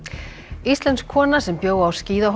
íslensk kona sem bjó á